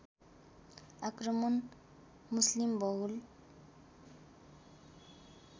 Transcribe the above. आक्रमण मुस्लिमबहुल